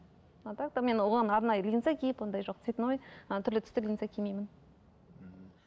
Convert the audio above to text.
а так то мен оған арнайы линза киіп ондай жоқ цветной ы түрлі түсті линза кимеймін ммм